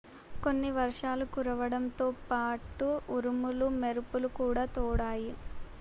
కొన్ని వర్షాలు కురవడంతో పాటు ఉరుములు మెరుపులు కూడా తోడాయి